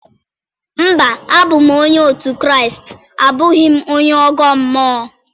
Mba, abụ m onye òtù Kraịst abụghị onye ọgọ mmụọ.